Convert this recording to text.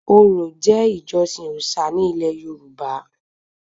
Orò jẹ́ ìjọsìn òòṣà ní ilẹ̀ yorùbá